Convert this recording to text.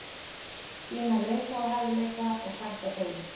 Sýna leiðtogahæfileika og sætta deilur.